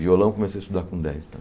Violão, comecei a estudar com dez